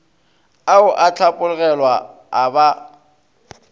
ao a hlapologelwa a ba